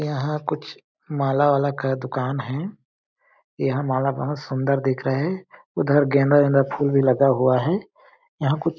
यहाँ कुछ माला वाला का दुकान है यहाँ माला बहुत सुंदर दिख रहे है उधर गेंदा गेंदा फूल भी लगा हुआ हैयहाँ कुछ --